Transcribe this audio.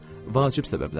Vacib səbəblər.